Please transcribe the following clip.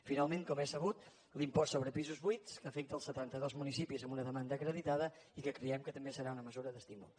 finalment com és sabut l’impost sobre pisos buits que afecta els setanta dos municipis amb una demanda acreditada i que creiem que també serà una mesura d’estímul